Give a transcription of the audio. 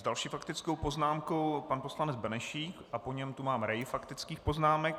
S další faktickou poznámkou pan poslanec Benešík a po něm tu mám rej faktických poznámek.